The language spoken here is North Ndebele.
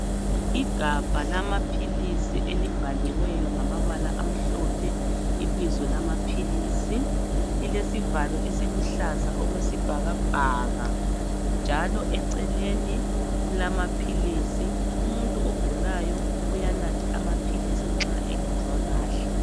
Igabha lamaphilisi elibhaliweyo ngamabala amhlophe ibizo lamaphilisi lilesivalo esiluhlaza okwesibhakabhaka njalo eceleni kulamaphilisi umuntu ogulayo uyanatha amaphilisi nxa engezwa kahle.